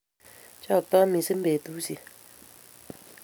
Choktoi missing betushiek